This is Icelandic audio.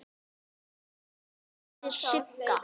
Þín litla systir Sigga.